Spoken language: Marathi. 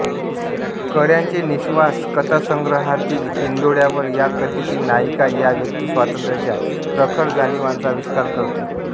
कळ्यांचे निःश्वास कथासंग्रहातील हिंदोळ्यावर या कथेची नायिका या व्यक्तिस्वातंत्र्याच्या प्रखर जाणीवांचा आविष्कार करते